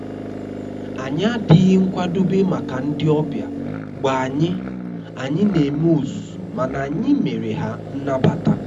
anyị adịghị nkwadobe maka ndị ọbịa mgbe anyị anyị na eme ozuzu mana anyị mere ha nnabata